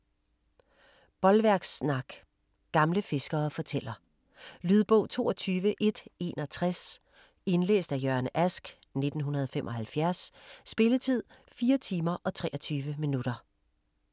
Bolværkssnak Gamle fiskere fortæller. Lydbog 22161 Indlæst af Jørgen Ask, 1975. Spilletid: 4 timer, 23 minutter.